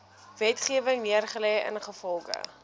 wetgewing neergelê ingevolge